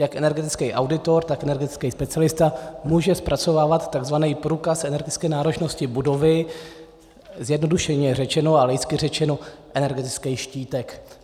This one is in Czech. Jak energetický auditor, tak energetický specialista může zpracovávat tzv. průkaz energetické náročnosti budovy, zjednodušeně řečeno a laicky řečeno energetický štítek.